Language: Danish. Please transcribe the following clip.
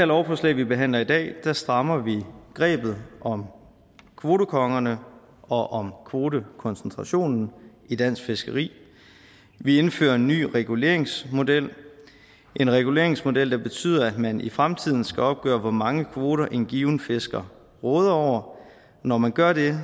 lovforslag vi behandler i dag strammer vi grebet om kvotekongerne og om kvotekoncentrationen i dansk fiskeri vi indfører en ny reguleringsmodel reguleringsmodel der betyder at man i fremtiden skal opgøre hvor mange kvoter en given fisker råder over og når man gør det